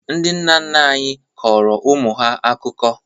Ndị nna nna anyị kọrọ ụmụ ha akụkọ.